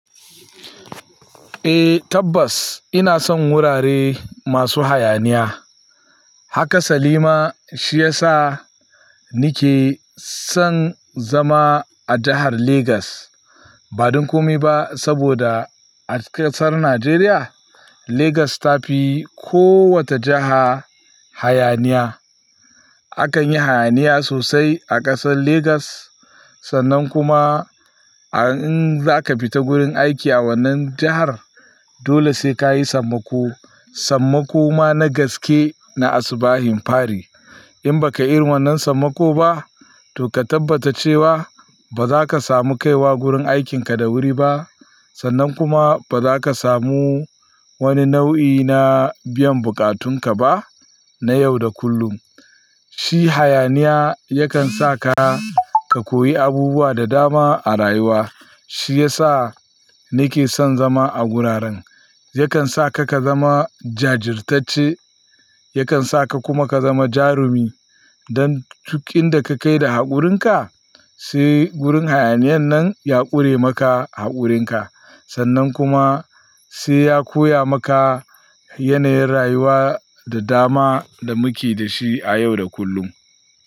Eh tabbas ina son wurare masu hayaniya. Haka sali ma, shi ya sa ni ke, son zama a jahar Lagos, ba don komai ba, saboda a ƙasar Najeriya Lagos ta fi kowace jaha hayaniya. Akan yi hayaniya sosai a ƙasar Lagos sannan kuma, in za ka fita wurin aiki a wannan jahar, dole sai ka yi sammako. Sammako ma na gaske na asubahin fari. In ba ka yi wannan sammako ba, to ka tabbata cewa, ba za ka samu kaiwa wurin aikinka da wuri ba sannan kuma, ba za ka samu wani nau'i na biyan bukatunka ba, na yau da kullum. Shi hayaniya yakan sa, ka koyi abubuwa da dama a rayuwa. Shi ya sa ni ke son zama a wuraren. Yakan sa ka, ka zama jajirtacce, yakan sa ka kuma ka zama jarumi, don duk inda ka kai da haƙurinka, sai gurin hayaniyan nan ya ƙure maka haƙurinka, sannan kuma sai ya koya maka yanayin rayuwa da dama da muke da shi a yau da kullum.